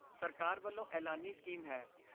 ਸਰਕਾਰ ਵੱਲੋਂ ਐਲਾਨੀ ਸਕੀਮ ਹੈ।